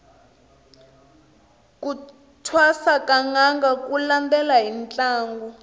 ku thwasa ka nanga ku landela hi ntlangu